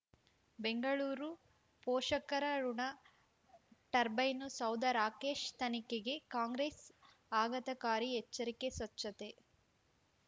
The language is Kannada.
ಬೆಂಗಳೂರು ಪೋಷಕರಋಣ ಟರ್ಬೈನು ಸೌಧ ರಾಕೇಶ್ ತನಿಖೆಗೆ ಕಾಂಗ್ರೆಸ್ ಆಘತಕಾರಿ ಎಚ್ಚರಿಕೆ ಸ್ವಚ್ಛತೆ